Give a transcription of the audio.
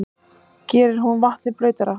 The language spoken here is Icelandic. Gerir hún vatnið blautara?